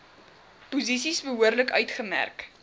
posisies behoorlik uitgemerk